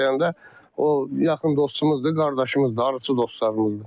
35 dənə də o yaxın dostumuzdur, qardaşımızdır, arıçı dostlarımızdır.